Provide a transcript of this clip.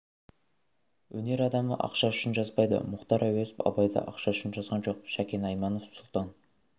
өнер адамы ақша үшін жазбайды мұхтар әуезов абайды ақша үшін жазған жоқ шәкен айманов сұлтан